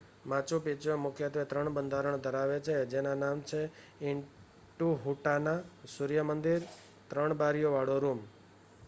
Machu Picchu મુખ્યત્વે 3 બંધારણ ધરાવે છે જેના નામ છે ઇન્ટિહુટાના સૂર્ય મંદિર અને 3 બારીઓ વાળો રૂમ